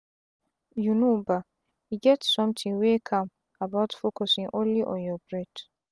you know bah e get sometin wey calm about focusin only on your breath.